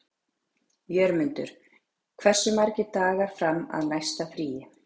Jörmundur, hversu margir dagar fram að næsta fríi?